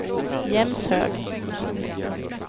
Jämshög